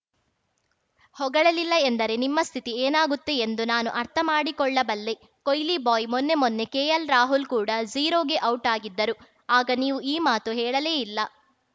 ಹೊಗಳಲಿಲ್ಲ ಎಂದರೆ ನಿಮ್ಮ ಸ್ಥಿತಿ ಏನಾಗುತ್ತೆ ಎಂದು ನಾನು ಅರ್ಥ ಮಾಡಿಕೊಳ್ಳಬಲ್ಲೆ ಕೊಯ್ಲಿ ಬಾಯ್‌ ಮೊನ್ನೆ ಮೊನ್ನೆ ಕೆಎಲ್‌ ರಾಹುಲ್‌ ಕೂಡ ಝೀರೋಗೆ ಔಟ್‌ ಆಗಿದ್ದರು ಆಗ ನೀವು ಈ ಮಾತು ಹೇಳಲೇಇಲ್ಲ